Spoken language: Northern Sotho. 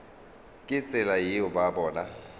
ka tsela yeo ba bona